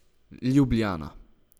Ljubljana.